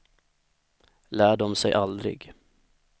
Lär dom sig aldrig?